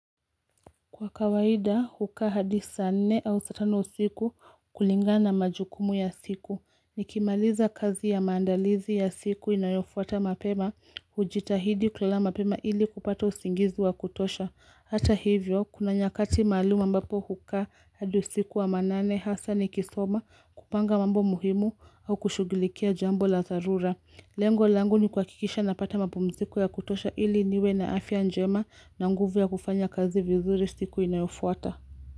Kwa kawaida, hukaa hadi saa nne au saa tano usiku kulingana majukumu ya siku. Nikimaliza kazi ya maandalizi ya siku inayofuata mapema, hujitahidi kulala mapema ili kupata usingizi wa kutosha. Hata hivyo, kuna nyakati maalumu ambapo hukaa hadi usiku wa manane hasa nikisoma kupanga mambo muhimu au kushughulikia jambo la dharura. Lengo langu ni kuhakikisha napata mapumziko ya kutosha ili niwe na afya njema na nguvu ya kufanya kazi vizuri siku inayofuata.